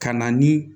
Ka na ni